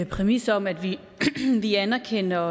præmis om at vi anerkender